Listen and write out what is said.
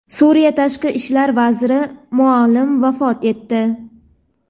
Suriya Tashqi ishlar vaziri Muallim vafot etdi.